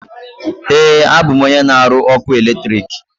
Ee, abụ m onye na aru ọkụ eletrik.